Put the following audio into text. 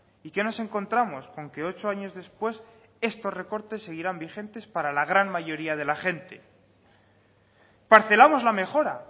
y qué nos encontramos con que ocho años después estos recortes seguirán vigentes para la gran mayoría de la gente parcelamos la mejora